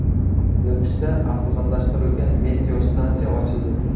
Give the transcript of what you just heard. Nukusda avtomatlashtirilgan meteostansiya ochildi.